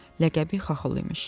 Ləqəbi Xaxol imiş.